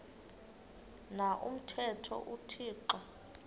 na umthetho uthixo